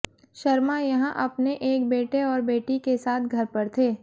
शर्मा यहां अपने एक बेटे और बेटी के साथ घर पर थे